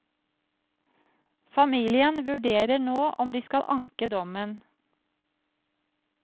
Familien vurderer nå om de skal anke dommen.